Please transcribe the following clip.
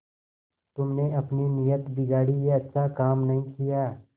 तुमने अपनी नीयत बिगाड़ी यह अच्छा काम नहीं किया